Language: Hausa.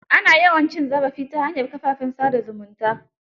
Ana yawan cin zarafi ta hanyar kafafen sa da zumunta.